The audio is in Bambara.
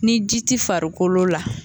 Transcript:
Ni ji ti farikolo la.